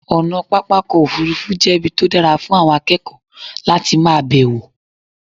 ọ̀nà pápá òfurufú jẹ́ ibi tó dára fún àwọn akékòó láti ma bẹ̀wọ̀